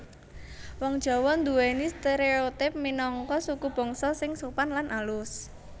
Wong Jawa nduwèni stereotipe minangka sukubangsa sing sopan lan alus